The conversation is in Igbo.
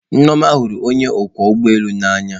Nneoma hụrụ onye ọkwọ ụgbọ elu n'anya.